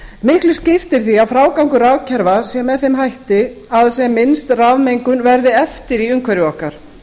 miklu skiptir því að frágangur rafkerfa sé með þeim hætti að sem minnst rafmengun verði eftir í umhverfi okkar